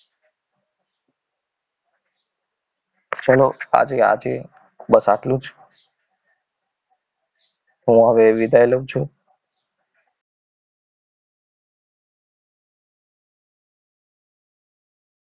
ચલો આજે આજે બસ આટલું જ હું હવે વિદાય લઉં છું